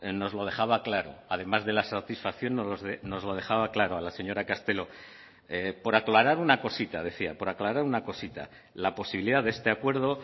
nos lo dejaba claro además de la satisfacción nos lo dejaba claro a la señora castelo por aclarar una cosita decía por aclarar una cosita la posibilidad de este acuerdo